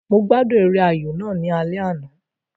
Mo gbádùn eré ayò náà ní alẹ́ àná